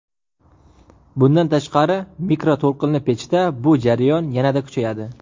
Bundan tashqari mikroto‘lqinli pechda bu jarayon yanada kuchayadi.